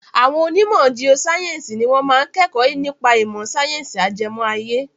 Àwọn onímọ̀ giosáyẹ̀nsì ni wọ́n máa ń kẹ́kọ̀ọ́ nípa ìmọ̀ sáyẹ́nsì ajẹmọ́ ayé.